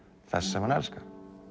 þess sem hann elskar